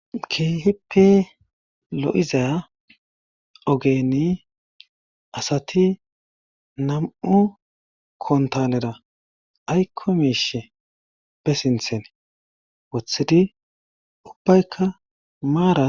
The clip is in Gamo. Keeheppe lo'iza ogeni asati nam'u kontalera aykko miishe be sinthen wothidi ubbaykka maara.